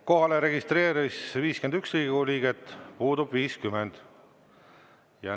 Kohalolijaks registreerus 51 Riigikogu liiget, puudub 50.